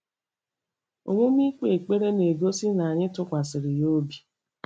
Omume ikpe ekpere na-egosi na anyị tụkwasịrị ya obi.